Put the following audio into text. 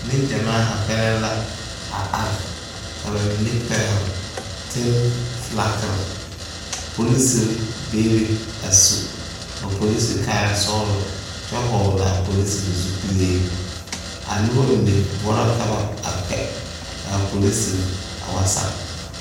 Nengyamaa haa kpɛlɛŋ la a are ka ba mine pɛgle tene filagiri polisiri bebe a su ba polisiri kaayasɔglɔ kyɛ hɔglaa polisiri zupile a noba mine boɔra ka ba a kpɛ k,a polisiri a wa sage.